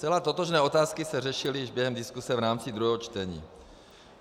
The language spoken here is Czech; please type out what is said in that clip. Zcela totožné otázky se řešily již během diskuse v rámci druhého čtení.